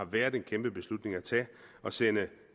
været en kæmpe beslutning at tage at sende